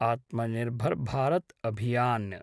Atmanirbhar Bharat Abhiyan